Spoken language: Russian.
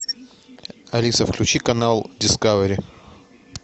алиса включи канал дискавери